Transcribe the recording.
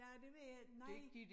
Ja det ved jeg ikke nej